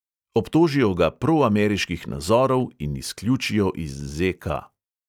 Obtožijo ga proameriških nazorov in izključijo iz ZK.